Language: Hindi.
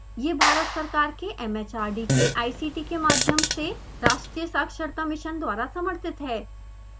यह भारत सरकार के एम एच आर डी के ict के माध्यम से राष्ट्रीय साक्षरता मिशन द्वारा समर्थित है